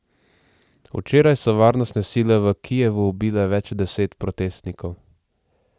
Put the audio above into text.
Včeraj so varnostne sile v Kijevu ubile več deset protestnikov.